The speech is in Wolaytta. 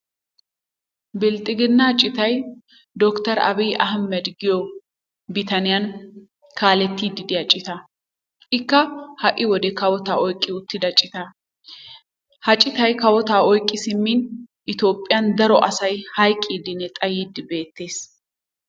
Bilxxiginnaa citay doctor abiy ahmed giyo bitaniyan kaalettiiddi diya citaa. Ikka ha'i wode kawotaa oyiqqi uttida citaa. Ha citay kawotaa oyiqqi simmin itophphiyan daro asay hayiqqiddinne xayiiddi beettes.